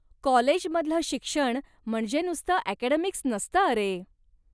कॉलेजमधलं शिक्षण म्हणजे नुसतं अकॅडेमिक्स नसतं अरे.